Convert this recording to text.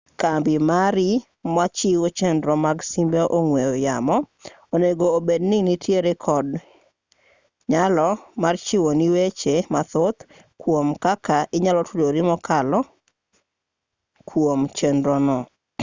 kambi mari machiwo chenro mag simbe ong'we yamo onego obedi ni nitiere kod nyalo mar chiwoni weche mathoth kwom kaka inyalo tudori kokalo kwom chenro no